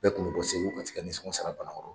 Bɛɛ kun bɛɛ bɔ Segu ka t'i ka nisɔngɔn sara Banakɔrɔ.